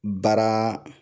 Baara